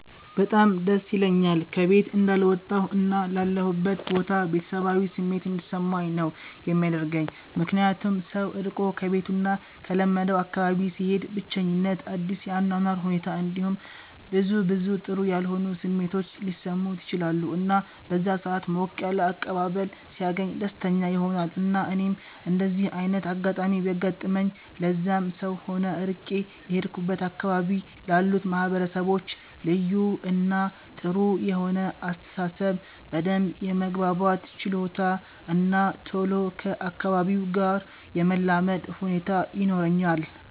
በጣም ደስ ይለኛል ከ ቤት እንዳልወጣሁ እና ላለሁበት ቦታ ቤተሰባዊ ስሜት እንዲሰማኝ ነው የሚያደርገኝ ምክንያቱም ሰው ርቆ ከቤቱ እና ከለመደው አካባቢ ሲሄድ ብቸኝት፣ አዲስ የ አኗኗር ሁኔት እንዲሁም ብዙ ብዙ ጥሩ ያልሆኑ ስሜቶች ሊሰሙት ይችላሉ እና በዛ ሰአት ሞቅ ያለ አቀባበል ሲያገኝ ደስተኛ ይሆናል እና እኔም እንደዚ አይነት አጋጣሚ ቢያጋጥመኝ ለዛም ሰው ሆነ ርቄ ለሄድኩበት አካባቢ ላሉት ማህበረሰቦች ልዩ እና ጥሩ የሆነ አስተሳሰብ፣ በደንብ የመግባባት ችሎታ እና ቶሎ ከ አካባቢው ጋር የመላመድ ሁኔታ ይኖረኛል።